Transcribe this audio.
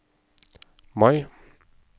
Mai